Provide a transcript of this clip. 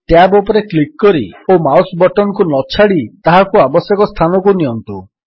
tab ଉପରେ click କରି ଓ ମାଉସ୍ ବଟନ୍ କୁ ନଛାଡ଼ି ତାହାକୁ ଆବଶ୍ୟକ ସ୍ଥାନକୁ ନିଅନ୍ତୁ